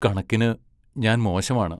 കണക്കിനു ഞാൻ മോശമാണ്.